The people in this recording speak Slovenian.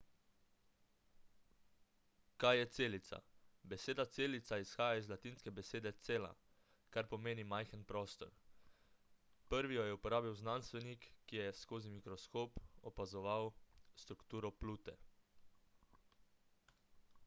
kaj je celica beseda celica izhaja iz latinske besede cella kar pomeni majhen prostor prvi jo je uporabil znanstvenik ki je skozi mikroskop opazoval strukturo plute